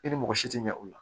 E ni mɔgɔ si ti ɲɛ o la